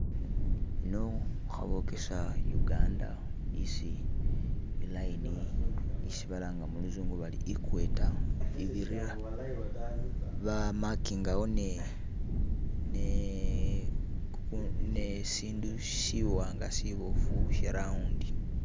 Ino khabokesa Uganda isi e line isi balanga muluzungu bari equator ibirira ba makingawo ne ne ne isindu siwanga siboofu she round.